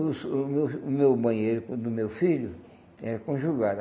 O o meu o meu banheiro com o do meu filho, era conjugado.